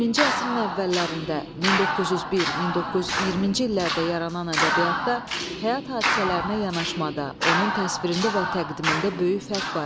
20-ci əsrin əvvəllərində, 1901-1920-ci illərdə yaranan ədəbiyyatda həyat hadisələrinə yanaşmada, onun təsvirində və təqdimində böyük fərq var idi.